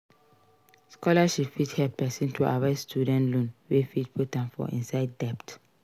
Scholarship fit help person to avoid student loans wey fit put am for inside debt